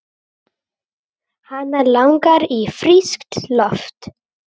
Hana langar í frískt loft.